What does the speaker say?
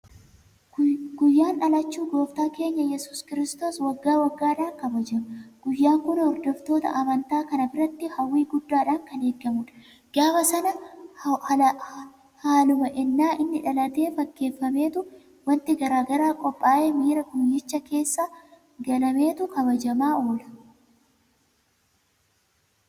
Guyyaan dhalachuu gooftaa keenya Yesuus Kiristoos waggaa waggaadhaan kabajama. Guyyaan kun hordoftoota amantaa kanaa biratti hawwii guddaadhaan kan eegamudha. Gaafa sana haaluma ennaa inni dhalatee fakkeeffameetu waanti garaa garaa qophaa'ee miira guyyichaa keessa galameetu kabajamaa oola.